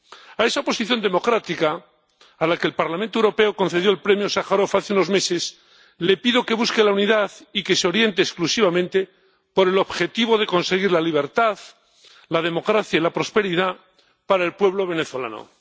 A esa oposición democrática, a la que el Parlamento Europeo concedió el Premio Sájarov hace unos meses, le pido que busque la unidad y que se oriente exclusivamente por el objetivo de conseguir la libertad, la democracia y la prosperidad para el pueblo venezolano.